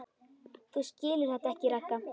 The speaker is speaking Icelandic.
Þú skilur þetta ekki, Ragga.